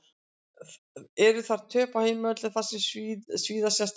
Eru þar töp á heimavelli sem svíða sérstaklega.